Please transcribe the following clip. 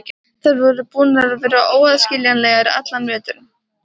Þær voru búnar að vera óaðskiljanlegar allan veturinn.